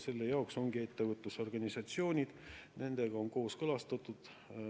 Selle jaoks ongi ettevõtlusorganisatsioonid, nendega on kooskõlastatud.